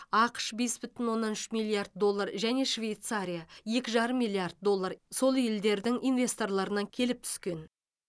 ақш бес бүтін оннан үш миллиард доллар және швейцария екі жарым миллиард доллар сол елдердің инвесторларынан келіп түскен